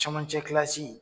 Camancɛ kilasi